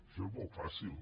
això és molt fàcil